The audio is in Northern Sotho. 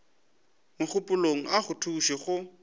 mogopolong a go thuše go